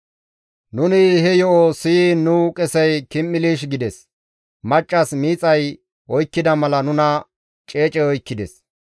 Nuni he yo7o siyiin nu qesey kim7ilish gides. Maccas miixay oykkida mala nuna ceecey oykkides.